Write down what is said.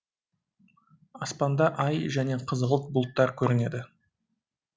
аспанда ай және қызғылт бұлттар көрінеді